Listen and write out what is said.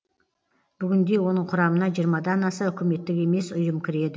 бүгінде оның құрамына жиырмадан аса үкіметтік емес ұйым кіреді